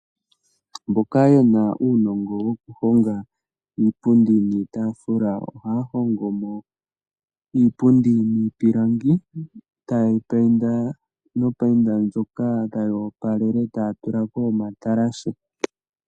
Mboka yena unongo wokuhonga iipundi niitafula, ohahongomo iipundi mipilangi etayeyi payinda no payinda ndjoka tayeyi opalele otaya tulako omatalashe.